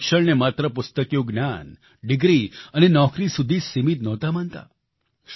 તેઓ શિક્ષણને માત્ર પુસ્તકિયું જ્ઞાન ડિગ્રી અને નોકરી સુધી જ સીમિત નહોતા માનતા